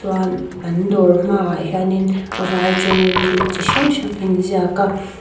chuan an dawr hma ah hianin vai tawngin thil chi hrang hrang a in ziak a.